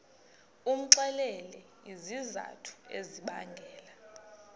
umxelele izizathu ezibangela